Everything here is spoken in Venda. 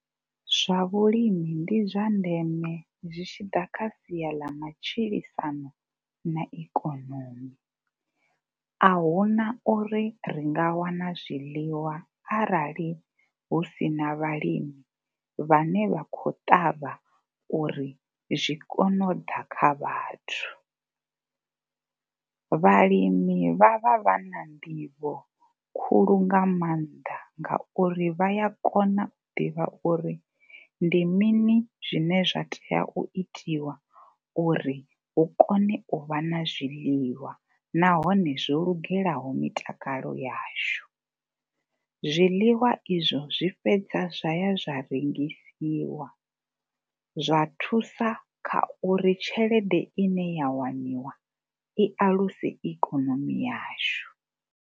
Zwa vhulimi ndi zwa ndeme zwi tshi ḓa kha sia ḽa matshilisano na ikonomi. A hu na uri ri nga wana zwiḽiwa arali hu si na vhalimi vhane vha khou ṱavha uri zwi kone u ḓa kha vhathu. Vhalimi vha vha vha na nḓivho khulu nga maanḓa ngauri vha ya kona u ḓivha uri ndi mini zwine zwa tea u itiwa uri hu kone u vha na zwiḽiwa nahone zwo lugelaho mitakalo yashu. Zwiḽiwa izwo zwi fhedza zwa ya zwa rengisiwa zwa thusa kha uri tshelede ine ya waniwa i aluse ikonomi yashu.